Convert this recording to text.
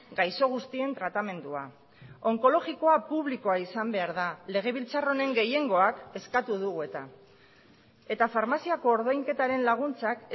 gaixo guztien tratamendua onkologikoa publikoa izan behar da legebiltzar honen gehiengoak eskatu dugu eta eta farmaziako ordainketaren laguntzak